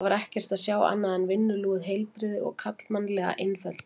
Þar var ekkert að sjá annað en vinnulúið heilbrigði og karlmannlega einfeldni.